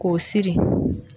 K'o siri